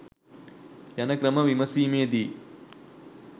යන ක්‍රම විමසීමේදී